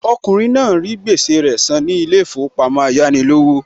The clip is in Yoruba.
Okùnrin náà rí gbèsè rẹ san ní ilé ìfowópamọ́ Ayánilówó